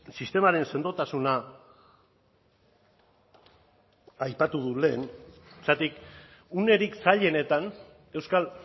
sistemaren sendotasuna aipatu dut lehen zergatik unerik zailenetan euskal